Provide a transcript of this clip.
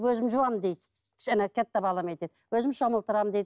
өзім жуамын дейді жаңа балам айтады өзім шомылдырамын дейді